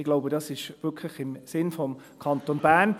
Ich denke, dies ist im Sinne des Kantons Bern.